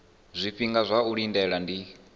zwifhinga zwa u lindela ndi